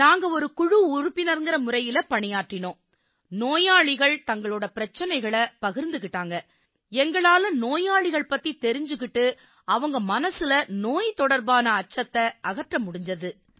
நாங்க ஒரு குழு உறுப்பினர்ங்கற முறையில பணியாற்றினோம் சார் நோயாளிகள் தங்கள் பிரச்சனைகளை பகிர்ந்துக்கிட்டாங்க எங்களால நோயாளிகள் பத்தித் தெரிஞ்சுக்கிட்டு அவங்க மனசுல நோய் தொடர்பான அச்சத்தை அகற்ற முடிஞ்சுது